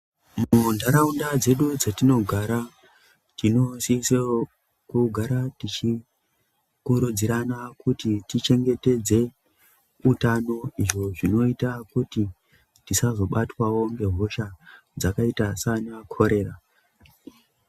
Munharaunda dzedu dzatinogara tinosisirwa kugara tichikurudzirana tichengetedze hutano izvo zvinoita kuti tisazobatwawo nehosha dzakaita sana chorera.